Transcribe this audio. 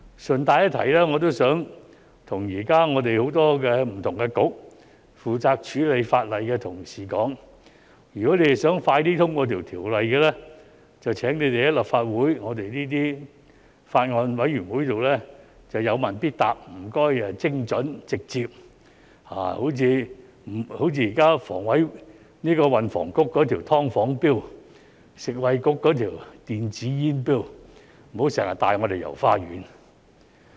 順帶一提，我想告訴現時很多不同的政策局負責處理法例的同事，如果他們想盡快通過條例，便請他們於立法會法案委員會上有問必答，請精準和直接，例如現時運輸及房屋局的"劏房 "Bill、食物及衞生局的電子煙 Bill， 不要經常帶我們"遊花園"。